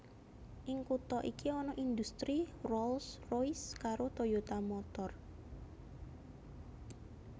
Ing kutha iki ana indhustri Rolls Royce karo Toyota Motor